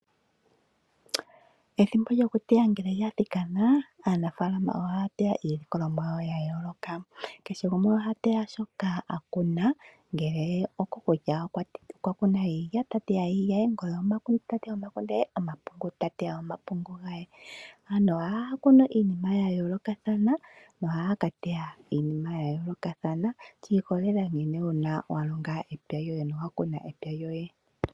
Ethimbo lyoku teya ngele lya thikana, aanafaalama ohaya teya iilikolomwa yawo ya yooloka. Kehe gumwe oha teya shoka a kuna, ngele okwa kuna iilya ota teya iilya, ngele omakunde ta teya omakunde gaye, omapungu ta teya omapungu gaye. Aantu ohaya kunu iinima ya yoolokathana no haya ka teya iinima ya yoolokathana shi ikololela nkene wa longa epya lyoye nowa kuna epya lyoye.